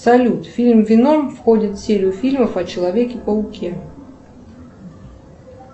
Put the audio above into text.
салют фильм веном входит в серию фильмов о человеке пауке